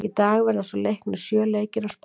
Í dag verða svo leiknir sjö leikir á Spáni.